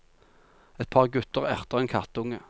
Et par gutter erter en kattunge.